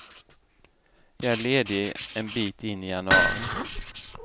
Jag är ledig en bit in i januari.